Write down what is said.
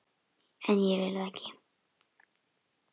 En ég vil það ekki.